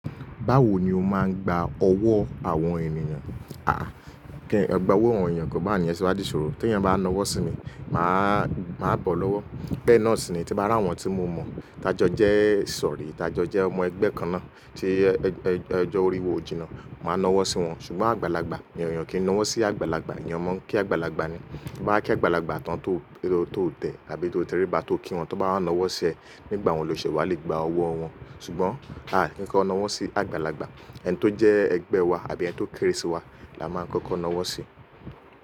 Báwo ni o máa ń gba ọwọ́ àwọn ènìyàn? Ẹgba owó àwọn ènìyàn ke bawo ni yen ṣe wa di iṣòro. Tí ènìyàn bá nawọ́ sí mi, màá bọ́ lọ́wọ́. Be náà síni, tí mo bá ra àwọn tí mo mọ̀, ti a jo jẹ ìsọ̀rí, ti a jo jẹ ọmọ ẹgbẹ́ kan náà tí ojo orí wa o jìnnà. Màá nawọ́ sí wọn, ṣùgbọ́n àgbàlagbà ni ènìyàn kì í nawọ́ sí àgbàlagbà, eyan mo n kí àgbàlagbà ni. To ba ki àgbàlagbà tán tó tẹ́ àbí tó tẹríba tó kí wọn, tan bá wá nawọ́ sí ẹ nígbà un lọ ṣe wà lè gba ọwọ́ wọn. Ṣùgbọ́n à á kì n kọ́ nawọ́ sí àgbàlagbà, ẹni tó jẹ́ ẹgbẹ́ wa àbí ẹni tó kéré sí wa la máa kọ́kọ́ nawọ́ sí.